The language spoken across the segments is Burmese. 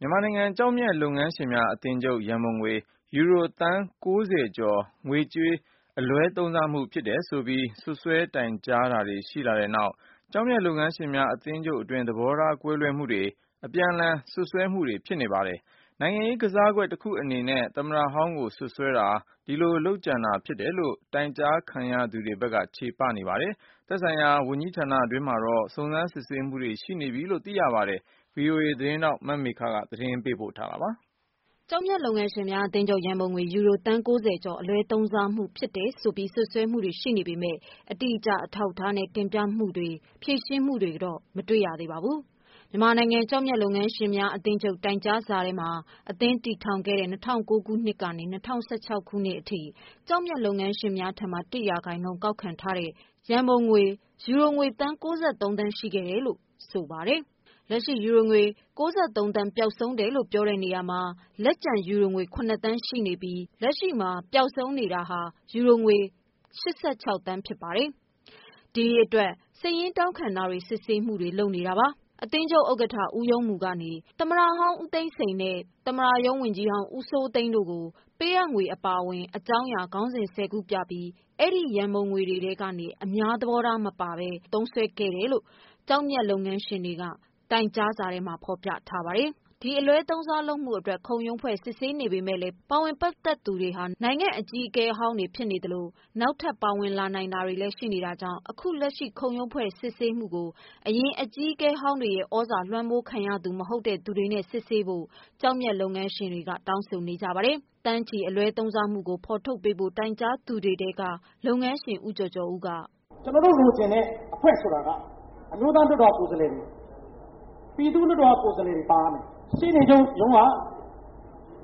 မြန်မာနိုင်ငံ ကျောက်မျက် လုပ်ငန်းရှင်များ အသင်းချုပ် ရန်ပုံငွေ ယူရိုသန်း ၉၀ ကျော်ငွေကြေး အလွဲသုံးစားမှုဖြစ်တယ်လို့ စွပ်စွဲတိုင်ကြားမှုတွေ ရှိလာ တဲ့နောက်၊ ကျောက်မျက်လုပ်ငန်းရှင်များအသင်းချုပ်အတွင်းမှာ သဘောကွဲမှုတွေ အပြန်အလှန် စွပ်စွဲမှုတွေဖြစ်နေ ပါတယ်။ နိုင်ငံရေး ကစားကွက် တခုအနေနဲ့ သမ္မတဟောင်း ကိုစွပ်စွဲတာ ဒီလိုလုပ်ကြံတာ ဖြစ်တယ်လို့ တိုင်ကြားခံရသူတွေဘက်က ချေပနေပါတယ်။ သက်ဆိုင်ရာဝန်ကြီးဌာနတွင်းမှာတော့ စုံစမ်းစစ်ဆေးမှုတွေရှိနေပြီလို့ သိရပါတယ်။ ဗွီအိုအေ သတင်းထောက် မမေခ သတင်းပေးပို့ထားပါတယ်။ ကျောက်မျက်လုပ်ငန်းရှင်များ အသင်းချုပ် ရန်ပုံငွေ ယူရိုသန်း ၉၀ ကျော် ငွေကြေး အလွဲသုံးစားမှုဖြစ်တယ်ဆိုပြီး စွပ်စွဲမှုတွေရှိပေမယ့် အတိအကျ အထောက်အထားနဲ့ တင်ပြမှုတွေ ဖြေရှင်းမှုတွေတော့ မတွေ့ရသေးပါဘူး။ မြန်မာနိုင်ငံ ကျောက်မျက်လုပ်ငန်းရှင်များ အသင်းချုပ် တိုင်ကြားစာမှာ အသင်း စတင် တည်ထောင်တဲ့ ၂၀၀၉ ခုနှစ်ကနေ၂၀၁၆ ခုနှစ်အထိ ကျောက်မျက် လုပ်ငန်း ရှင်များထံမှ ၁ ရာခိုင်နှုန်း ကောက်ခံထားသော ရန်ပုံငွေ ယူရိုငွေ သန်း ၉၃ သန်းရှိခဲ့တယ်လို့ ဆိုပါတယ်။ လက်ရှိ ယူရိုငွေ ၉၃ သန်း ပျောက်ဆုံး တယ်လို့ ပြောတဲ့နေရာ မှာ လက်ကျန် ယူရိုငွေ ၇ သန်းရှိနေပြီး လက်ရှိ မှာ ပျောက်ဆုံးနေတာ ယူရို ၈၆ သန်း ဖြစ်ပါတယ်။ ဒီအတွက် စာရင်းတောင်းခံ တာတွေ စစ်ဆေးမှုတွေ လုပ်နေတာပါ။ အသင်းချုပ် ဥက္ကဋ္ဌ ဦးရုံးမူကနေ သမ္မတဟောင်း ဦးသိန်းစိန် နှင့် သမ္မတရုံး ဝန်ကြီးဟောင်း ဦးစိုးသိန်း တို့ကို ပေးအပ်ငွေ အပါအဝင် အကြောင်းအရာ ခေါင်းစဉ် ၁၀ ခု ပြပြီး အဲဒီရန်ပုံငွေများထဲကနေ အများသဘောထားမပါဘဲ သုံးခဲ့တယ်လို့ တိုင်ကြားသူတွေက တိုင်ကြားစာထဲမှာဖော်ပြထားပါတယ်။ ခုချိန်မှာ ဒီအလွဲသုံးစားမှုအတွက် ခုံရုံးဖွဲ့စစ်ဆေးနေ ပေမယ့်လည်း ပါဝင် ပတ်သတ်သူတွေဟာ နိုင်ငံအကြီးအကဲဟောင်းတွေဖြစ်နေသလို နောက်ထပ်ပါဝင်လာနိုင် တာကြောင့် ခု လက်ရှိ ခုံရုံးဖွဲ့စစ်ဆေးမှုကို အရင် အကြီးကဲဟောင်းတွေရဲ့ သြဇာလွှမ်းမိုးသူ မဟုတ်တဲ့ သူတွေနဲ့ စစ်ဆေးဖို့တောင်းဆိုနေကြပါတယ်။ သန်းချီ အလွဲသုံးစားမှုကို ဖော်ထုတ်ပေးဖို့ တိုင်ကြားထားသူ တွေထဲက လုပ်ငန်းရှင် ဦးကျော်ကျော်ဦးက- " ကျနော်တို့လိုချင်တဲ့ အဖွဲ့ဆိုတာက အမျိုးသားလွှတ်တော်က ကိုယ်စားလှယ်တွေ၊ ပြည်သူ့ လွှတ်တော်က ကိုယ်စားလှယ်တွေ ပါရမယ်။ ရှေ့နေချုပ်ရုံး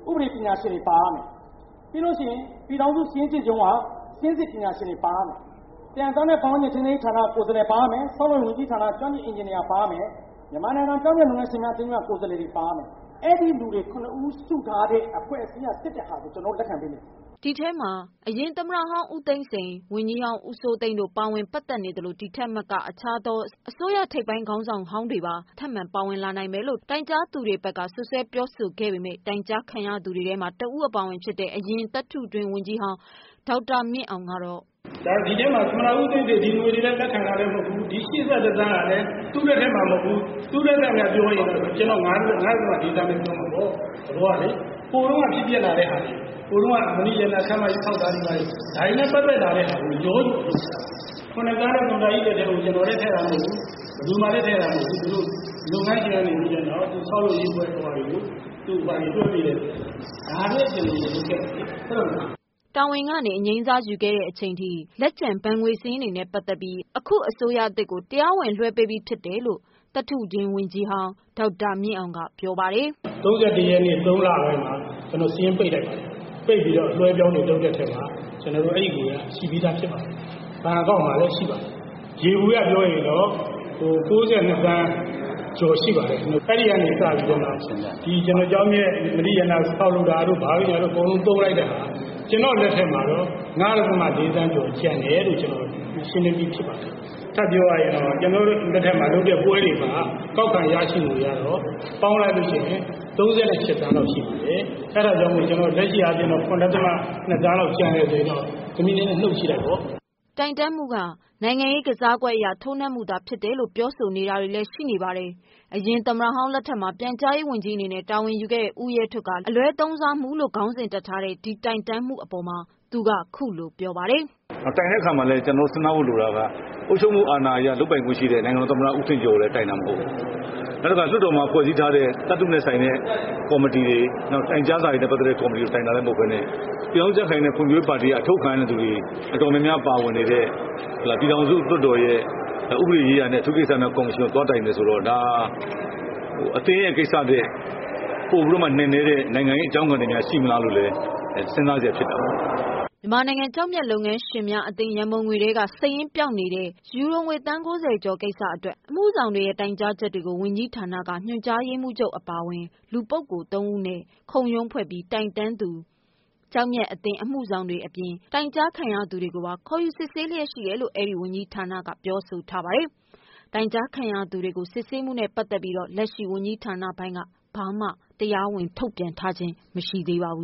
က ဥပဒေပညာရှင်တွေ ပါရမယ်။ ပြည်ထောင်စု စာရင်းစစ်ချုပ်ရုံးက စာရင်းစစ် ပညာရှင်တွေ ပါရမယ်။ သယံဇာတ နဲ့ ပတ်ဝန်းကျင် ထိန်းသိမ်းရေးဌာနက ကိုယ်စားလှယ်တွေ ပါရမယ်။ ဆောက်လုပ်ရေးဝန်ကြီးဌာနက ကျွမ်းကျင်အင်ဂျင်နီယာ ပါရမယ်။ မြန်မာနိုင်ငံ ကျောက်မျက်လုပ်ငန်းရှင်များအသင်းက ကိုယ်စားလှယ်တွေ ပါရမယ်။ အဲ့ဒီ့လူတွေ ၇ ဦး စုထားတဲ့ အဖွဲ့အစည်းက စစ်တဲ့ဟာကို ကျနော်တို့ လက်ခံမယ်။ " ဒီထဲမှာ အရင်သမ္မတဟောင်း ဦးသိန်းစိန်၊ ဝန်ကြီးဟောင်း ဦးစိုးသိန်းတို့ ပါဝင် ပတ်သတ်နေသလို ဒီထက်မက အခြားသော အစိုးရ ထိပ်ပိုင်း ခေါင်းဆောင်ဟောင်းတွေ ပါ ထပ်မံပါဝင်လာနိုင်မယ်လို့ တိုင်ကြားသူတွေ ဘက်က စွပ်စွဲပြောဆိုခဲ့ပေမယ့် တိုင်ကြားခံရသူတွေထဲမှာ တဦး အပါအဝင်ဖြစ်တဲ့ အရင်သတ္ထုတွင်း ဝန်ကြီးဟောင်း ဒေါက်တာမြင့်အောင်ကတော့ " ဒီအထဲမှာ သမ္မတဦးသိန်းစိန် ဒီငွေတွေလည်း လက်ခံထားတာလည်း မဟုတ်ဘူး။ ဒီ ၈၁ သန်း ဟာလည်း သူ့လက်ထဲမှာ မဟုတ်ဘူး။.သူ့လက်ထက်မှာလို့ပြောရင် ဒီအတိုင်းပဲပြောမှာပေါ့။ သဘောကလေ။ ဟိုတုန်းက ဖြစ်ပျက်လာတဲ့ ဟာတွေ၊ ဟိုတုန်းက မဏ္ဍိရတနာ ခန်းမကြီး ဆောက်တာတွေ ဘာတွေ၊ ဒါတွေလည်း ပတ်သတ်တာပဲ ရောနေတဲ့ဟာကို။ ၇သန်းက သမ္မတကြီးလက်ထဲကို ကျနော်လည်း ထည့်တာမဟုတ်ဘူး။ ဘယ်သူမှလည်း ထည့်တာမဟုတ်ဘူး။ သူတို့လုပ်ငန်းရှင် ကနေပြီးတော့ ဆောက်လုပ်ရေးအဖွဲ့ကို တွက်ပေးတာ။ ဒါတွေပဲ ကျနော်တို့ လုပ်ခဲ့တာလေ။ ဟုတ်တယ်မဟုတ်လား။" တာဝန်ကနေ အငြိမ်းစားယူခဲ့တဲ့ချိန်ထိ ဘဏ်ငွေစာရင်းတွေနဲ့ပတ်သတ်ပြီး အခုအစိုးရသစ်ကို တရားဝင်လွှဲပေးလိုက်ပြီဖြစ်တယ်လို့လည်း အရင် သတ္ထု တွင်းဝန်ကြီးဟောင်း ဒေါက်တာမြင့်အောင် က ပြောပါတယ်။ " ၃၁ရက်နေ့ ၃ လပိုင်းမှာ ကျနော်တို့ စာရင်းပိတ်လိုက်ပါတယ်။ ပိတ်ပြီးတော့ ကျနော်တို့လွှဲလိုက်ပါတယ်။ အလွှဲအပြောင်းလုပ်တဲ့အထဲမှာ ကျနော်တို့ အဲ့ဒီ့ငွေက ရှိပါတယ်။ ဘဏ်အကောင့်မှာလည်း ရှိပါတယ်။ ယေဘူယျပြောရင်တော့ ၉၂သန်း ကျော်ရှိပါတယ်။ အဲ့ဒီ့ကနေ စပြီးတော့ ကျနော်တို့ ကျောက်မျက် မဏ္ဍိရတနာ ဆောက်လုပ်တာတို့ဘာတို့ညာတို့ အကုန်လုံး သုံးလိုက်တဲ့ဟာက ကျနော့်လက်ထဲမှာတော့ ၅.၄ သန်းကျော် ကျန်တယ်လို့ ကျနော် ရှင်းလင်းပြီးဖြစ်ပါတယ်။ ထပ်ပြောရရင်တော့ ကျနော်တို့လက်ထက်မှာ လုပ်တဲ့ပွဲတွေမှာ ကောက်ခံရရှိငွေက ပေါင်းလိုက်လို့ရှိရင် ၃၈သန်း လောက်ရှိပါတယ်။ အဲ့တာကြောင့် ကျနော်တို့ လက်ရှိအားဖြင့် ၇.၂ သန်းလောက် ကျန်တယ်ဆိုရင် နုတ်ကြည့်လိုက်ပေါ့။" တိုင်တန်းမှုက နိုင်ငံရေးကစားကွက်အရ ထိုးနှက်မှုသာ ဖြစ်တယ် လို့ ပြောဆိုနေ တာတွေလည်း ရှိနေပါတယ်။ အရင် သမ္မတဟောင်း လက်ထက်မှာ ပြန်ကြားရေး ဝန်ကြီးအနေနဲ့ တာဝန်ယူခဲ့သူ ဦးရဲထွဋ်က လက်ရှိ ဒီအလွဲသုံးစားမှုလို့ ခေါင်းစဉ် တပ်ထားတဲ့ ဒီတိုင်တန်းမှုအပေါ် သူက ခုလိုပြောပါတယ်။ " တိုင်တဲ့အခါမှာ ကျနော်တို့ စဉ်းစားရမှာက အုပ်ချုပ်မှု အာဏာအရ လုပ်ပိုင်ခွင့်ရှိတဲ့ နိုင်ငံတော်သမ္မတ ဦးထင်ကျော်ကိုလည်း တိုင်တာ မဟုတ်ဘူး။ နောက်တခါ လွှတ်တော်မှာ ဖွဲ့စည်းထားတဲ့ သယံဇာတနဲ့ သက်ဆိုင်တဲ့ ကေ်ာမတီတွေ နောက်တခုက တိုင်ကြားစာ နဲ့ပတ်သက်တဲ့ ကော်မတီကိုလည်း တိုင်တာ မဟုတ်ပဲ နဲ့ ပြည်ထောင်စုကြံ့ခိုင်ရေးနဲ့ ဖွံ့ဖြိုးရေးပါတီက အထုတ်ခံထားရတဲ့ ပါတီဝင်တွေ တော်တော်များများ ပါဝင်နေတဲ့ ပြည်ထောင်စုလွှတ်တော်ရဲ့ ဥပဒေရေးရာနဲ့ အထူးကိစ္စများ ကေ်ာမရှင်ကို သွားတိုင်တယ်ဆိုတော့ ဒါဟာ အသင်းရဲ့ကိစ္စထက် ပိုပြီးတော့မှ နက်နဲတဲ့ နိုင်ငံရေးအကြောင်းခံတွေများ ရှိမလားလို့ စဉ်းစားစရာဖြစ်တာပေါ့။" မြန်မာနိုင်ငံကျောက်မျက်လုပ်ငန်းရှင်များအသင်းရံပုံငွေထဲက စာရင်းပျောက်နေတဲ့ ယူရိုငွေ သန်း၉၀ အခု ကိစ္စအတွက် အမှုဆောင်တွေရဲ့တိုင်ကြားချက်ကို ဝန်ကြီးဌာနက ညွှန်ကြားရေးမှူးချုပ်အပါအဝင် လူ ပုဂ္ဂိုလ် ၃ ဦးနဲ့ ခုံရုံးဖွဲ့ပြီး တိုင်တန်းသူကျောက်မျက်အသင်း အမှု ဆောင်တွေအပြင် တိုင်ကြားခံရသူတွေကိုပါ စစ်ဆေးလျက်ရှိနေပါတယ်။ တိုင်ကြားခံရသူတွေကိုပါ စစ်ဆေးမှုနဲ့ပတ်သတ်ပြီးတော့ လက်ရှိဝန်ကြီးဌာနပိုင်း ကဘာမှ တရားဝင်ထုတ်ပြန်တာ မရှိသေးပါဘူး